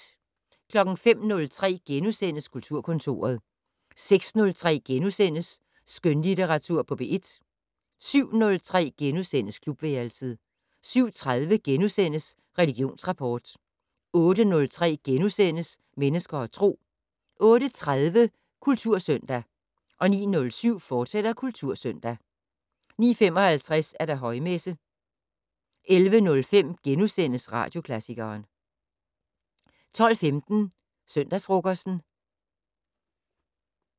05:03: Kulturkontoret * 06:03: Skønlitteratur på P1 * 07:03: Klubværelset * 07:30: Religionsrapport * 08:03: Mennesker og Tro * 08:30: Kultursøndag 09:07: Kultursøndag, fortsat 09:55: Højmesse - 11:05: Radioklassikeren * 12:15: Søndagsfrokosten